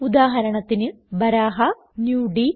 ഉദാഹരണത്തിന് ബരഹ നുടി